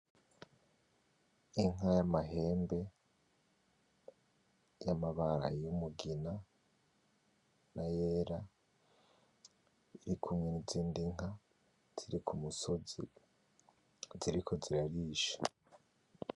Inka y'amahembe ; y'amabara ; y'umugina n'ayera iri kumwe n'izindi nka ziri kumusozi ziriko zirarisha.